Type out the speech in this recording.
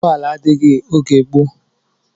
Ụgbọala adịghị oge gboo